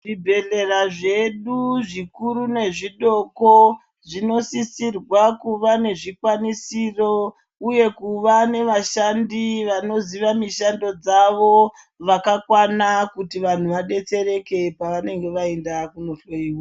Zvibhedhlera zvedu zvikuru nezvidoko zvinosisirwe kuva nezvikwanisiro uye kuve nevashandi vanoziva mishando dzavo vakwana kuti vantu vadetsereke pavanenge vaenda kundohloyiwa.